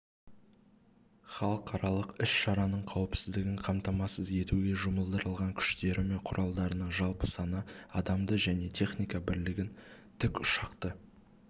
халықаралық іс-шараның қауіпсіздігін қамтамасыз етуге жұмылдырылған күштері мен құралдарының жалпы саны адамды және техника бірлігін тікұшақты